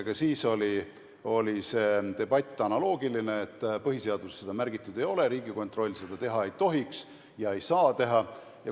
Ka siis oli see debatt analoogiline, et põhiseaduses seda märgitud ei ole ja Riigikontroll ei tohiks ega saaks seda teha.